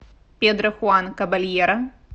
педро хуан кабальеро